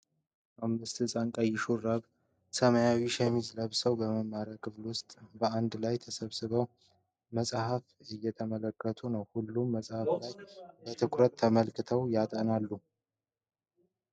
አምስት ሕፃናት ቀይ ሹራብና ሰማያዊ ሸሚዝ ለብሰው፣ በመማሪያ ክፍል ውስጥ በአንድ ላይ ተሰባስበው መጽሐፍ እየተመለከቱ ነው። ሁሉም በጽሑፉ ላይ በትኩረት ተጠምደው ያጠናሉ።